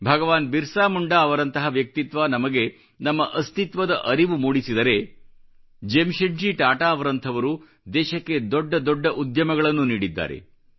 ಭಗವಾನ್ ಬಿರ್ಸಾ ಮುಂಡಾ ಅವರಂತಹ ವ್ಯಕ್ತಿತ್ವ ನಮಗೆ ನಮ್ಮ ಅಸ್ತಿತ್ವದ ಅರಿವು ಮೂಡಿಸಿದರೆ ಜೆಮ್ಶೆಡ್ಜಿ ಟಾಟಾ ಅವರಂಥವರು ದೇಶಕ್ಕೆ ದೊಡ್ಡ ದೊಡ್ಡ ಉದ್ಯಮಗಳನ್ನು ನೀಡಿದ್ದಾರೆ